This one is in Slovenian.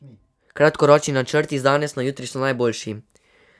Kratkoročni načrti z danes na jutri so najboljši.